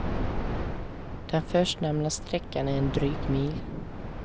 Den förstnämnda sträckan är en dryg mil.